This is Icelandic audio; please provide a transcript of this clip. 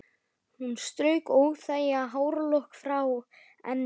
Hún strauk óþægan hárlokk frá enninu: Hann er farinn suður